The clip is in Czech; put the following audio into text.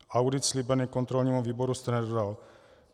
Audit slíbený kontrolnímu výboru jste nedodal.